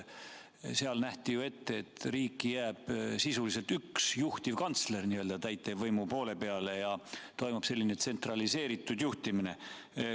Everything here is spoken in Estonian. Seal nähti ju ette, et riiki jääb sisuliselt üks juhtivkantsler täitevvõimu poole peale ja toimub selline tsentraliseeritud juhtimine.